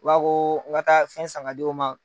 Ba ko k'an ka taa fɛn san ka d'u ma.